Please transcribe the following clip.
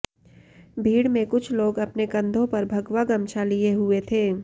भीड में कुछ लोग अपने कंधों पर भगवा गमछा लिए हुए थे